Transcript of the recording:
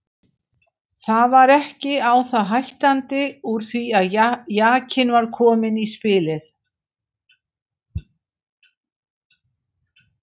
Það var ekki á það hættandi úr því að jakinn var kominn í spilið.